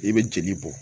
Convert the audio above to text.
I bɛ jeli bɔ